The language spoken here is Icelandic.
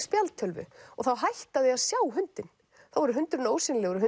spjaldtölvu og þá hætta þau að sjá hundinn þá verður hundurinn ósýnilegur og